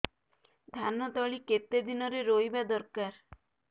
ଧାନ ତଳି କେତେ ଦିନରେ ରୋଈବା ଦରକାର